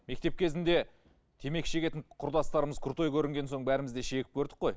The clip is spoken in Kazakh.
мектеп кезінде темекі шегетін құрдастарымыз крутой көрінген соң бәріміз де шегіп көрдік қой